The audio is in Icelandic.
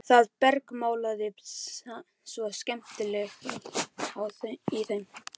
Það bergmálaði svo skemmtilega í þeim.